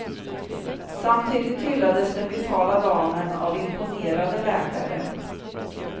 Samtidigt hyllades den vitala damen av imponerade läkare.